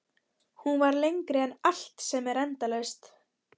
Hún var lengri en allt sem er endalaust.